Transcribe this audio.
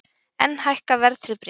Enn hækka verðtryggð bréf